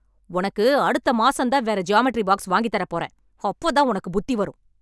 உனக்கு அடுத்த மாசம் தான் வேற ஜியாமெட்ரி பாக்ஸ் வாங்கித் தரப் போறேன். அப்போ தான் உனக்கு புத்தி வரும்.